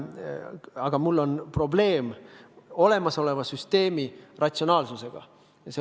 Aga ma näen probleemi, kui mõtlen olemasoleva süsteemi ratsionaalsusele.